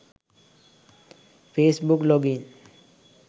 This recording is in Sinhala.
face book log in